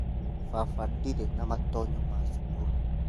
Baba ndirĩ na matonyo ma cukuru